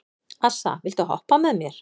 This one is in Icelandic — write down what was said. Assa, viltu hoppa með mér?